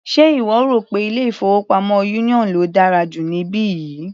Ṣe ìwọ rò pé ilé-ìfowópamọ́ union ló dára jù níbí yìí?